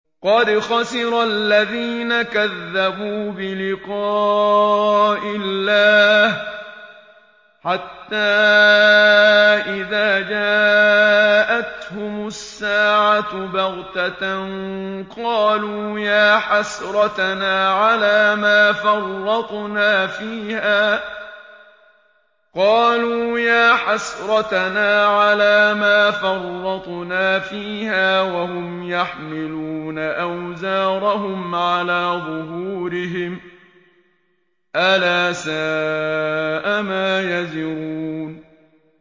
قَدْ خَسِرَ الَّذِينَ كَذَّبُوا بِلِقَاءِ اللَّهِ ۖ حَتَّىٰ إِذَا جَاءَتْهُمُ السَّاعَةُ بَغْتَةً قَالُوا يَا حَسْرَتَنَا عَلَىٰ مَا فَرَّطْنَا فِيهَا وَهُمْ يَحْمِلُونَ أَوْزَارَهُمْ عَلَىٰ ظُهُورِهِمْ ۚ أَلَا سَاءَ مَا يَزِرُونَ